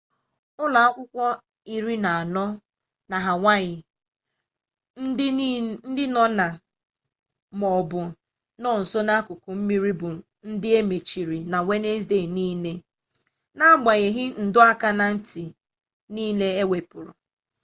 ụlọ akwụkwọ iri na anọ na hawaii ndị nọ na ma ọ bụ na nso akụkụ mmiri bụ ndị e mechiri na wenezdee niile na-agbanyeghị ndọ aka na ntị niile ewepụrụ